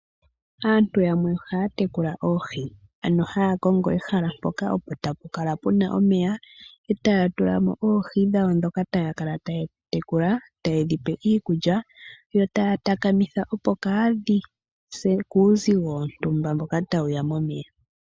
Aantu yamwe ohaya tekula oohi, ano haya kongo ehala mpoka opo tapu kala puna omeya, etaya tula mo oohi dhawo dhoka taya kala taye dhi tekula, taye dhi pe iikulya yo taya takamitha opo kaadhi se kuuzigo wontumba mboka tawuya momeya.